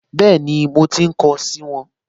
Bẹ́ẹ̀ni, mo ti kọ ọ́ sì wọn